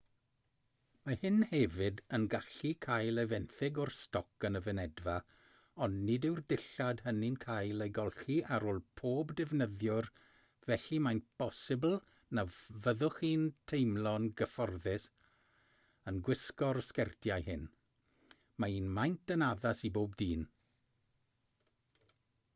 mae hyn hefyd yn gallu cael ei fenthyg o'r stoc yn y fynedfa ond nid yw'r dillad hynny'n cael eu golchi ar ôl pob defnyddiwr felly mae'n bosibl na fyddwch chi'n teimlo'n gyfforddus yn gwisgo'r sgertiau hyn mae un maint yn addas i bob dyn